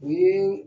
U ye